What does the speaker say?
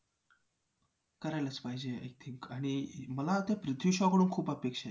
comment करते त ओ कडुलिंबाचा जो आहे साबण तोच use करायला सांगते.